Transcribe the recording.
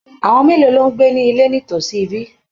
Àwọn mélòó ló ń gbé ní ilé nítòsí ibí?